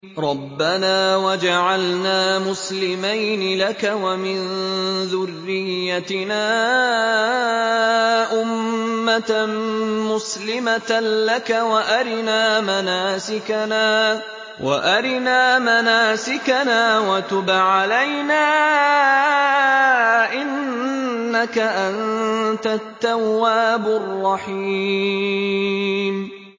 رَبَّنَا وَاجْعَلْنَا مُسْلِمَيْنِ لَكَ وَمِن ذُرِّيَّتِنَا أُمَّةً مُّسْلِمَةً لَّكَ وَأَرِنَا مَنَاسِكَنَا وَتُبْ عَلَيْنَا ۖ إِنَّكَ أَنتَ التَّوَّابُ الرَّحِيمُ